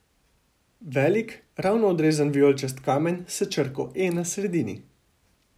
Velik, ravno odrezan vijoličast kamen s črko E na sredini.